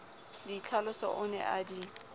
ditlhaloso o ne a di